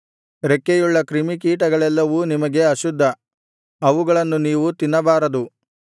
ರೆಕ್ಕೆಯುಳ್ಳ ಕ್ರಿಮಿಕೀಟಗಳೆಲ್ಲವೂ ನಿಮಗೆ ಅಶುದ್ಧ ಅವುಗಳನ್ನು ನೀವು ತಿನ್ನಬಾರದು